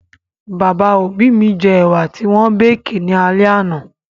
Bàbá òbí mi jẹ ẹ̀wà ti wọ́n békì ní alẹ́ àná